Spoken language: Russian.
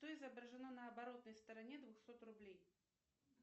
что изображено на оборотной стороне двухсот рублей